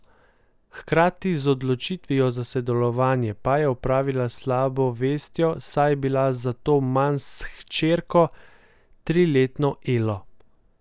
Hkrati z odločitvijo za sodelovanje pa je opravila s slabo vestjo, saj je bila zato manj s hčerko, triletno Elo.